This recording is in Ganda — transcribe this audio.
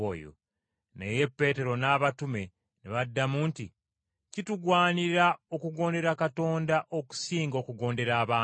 Naye Peetero n’abatume ne baddamu nti, “Kitugwanira okugondera Katonda okusinga okugondera abantu.